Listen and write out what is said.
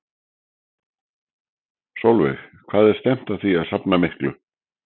Sólveig: Hvað er stefnt að því að safna miklu?